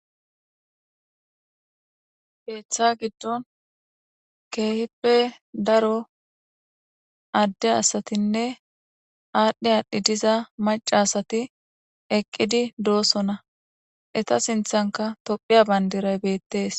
Keetha gidon keehippe daro Ade asatinne adhi adhid diza maca asat dosona eta sinthanka tophiya Bandray betes.